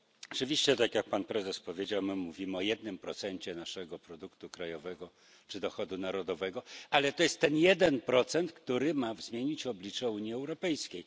Oczywiście, tak jak Pan Prezes powiedział, my mówimy o jednym procencie naszego produktu krajowego czy dochodu narodowego, ale to jest ten jeden procent, który ma zmienić oblicze Unii Europejskiej.